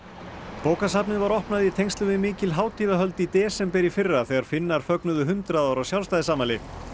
bókasafnið Oodi var opnað í tengslum við mikil hátíðahöld í desember í fyrra þegar Finnar fögnuðu hundrað ára sjálfstæðisafmæli